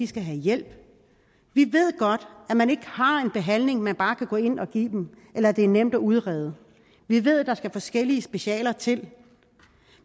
skal have hjælp vi ved godt at man ikke har en behandling man bare kan gå ind og give dem eller at det er nemt udrede vi ved der skal forskellige specialer til